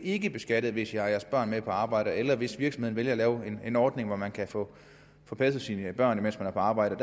ikke beskattet hvis de har deres børn med på arbejde eller hvis virksomheden vælger at lave en ordning hvor man kan få passet sine børn mens man er på arbejde